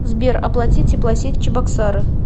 сбер оплати теплосеть чебоксары